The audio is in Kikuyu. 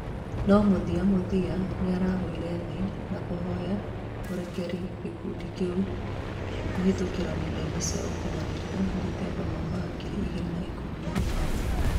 No muthiamuthia nĩaragũire thĩ na kũhoya ũrekeri gĩkundi kĩu kuhĩtũkĩra nenda-inĩ cĩa ũkĩnyanĩria, dethemba mwaka wa ngiri igĩrĩ na ikũmi na inyanya